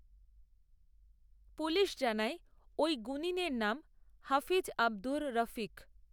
police জানায় ওই গুণিনের নাম হাফিজ আবদুর রফিক